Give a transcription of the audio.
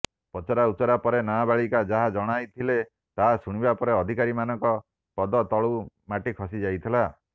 ପଚରାଉଚରା ପରେ ନାବଳିକା ଯାହା ଜଣାଇଥିଲେ ତାହା ଶୁଣିବା ପରେ ଅଧିକାରୀମାନଙ୍କ ପଦ ତଳୁ ମାଟି ଖସି ଯାଇଥିଲା